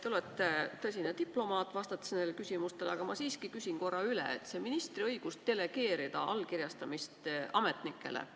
Te olete neile küsimustele vastates tõsine diplomaat, aga ma siiski küsin korra veel ministri õiguse kohta delegeerida allkirjastamist ametnikele.